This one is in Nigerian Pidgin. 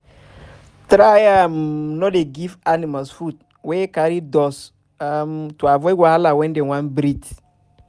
try um no dey give animals food wey carry dust to um avoid wahala wen dem wan breath